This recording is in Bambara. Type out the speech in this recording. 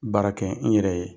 Baara kɛ i yɛrɛ ye.